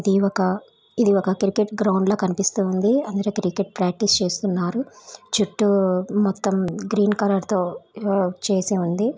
ఇది ఒక ఇది ఒక క్రికెట్ గ్రౌండ్ లా కనిపిస్తూ ఉంది. అందరూ క్రికెట్ ప్రాక్టీస్ చేస్తున్నారు. చుట్టూ మొత్తం గ్రీన్ కలర్ తో చేసి ఉంది.